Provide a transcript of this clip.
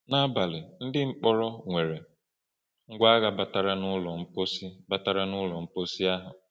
N’abalị, ndị mkpọrọ nwere ngwa agha batara n’ụlọ mposi batara n’ụlọ mposi ahụ.